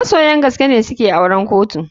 Masoya gaskene suke auren kotu.